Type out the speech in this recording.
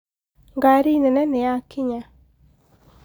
ngari nene nĩyakinya